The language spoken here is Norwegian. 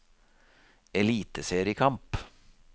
eliteseriekamp